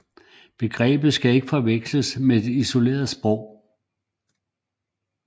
Begrebet skal ikke forveksles med et isolerende sprog